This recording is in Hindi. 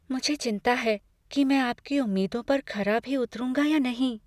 मुझे चिंता है कि मैं आपकी उम्मीदों पर खरा भी उतरूंगा या नहीं।